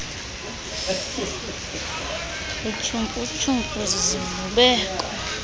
utyhumfu tyhumfu zizivubeko